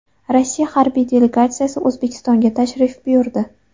Rossiya harbiy delegatsiyasi O‘zbekistonga tashrif buyurdi.